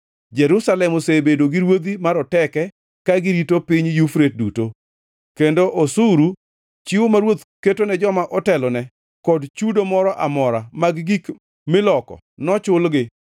Jerusalem osebedo gi ruodhi maroteke ka girito piny Yufrate duto, kendo osuru, chiwo ma ruoth ketone joma otelone, kod chudo moro amora mag gik miloko nochulgi.